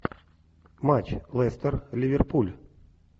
матч лестер ливерпуль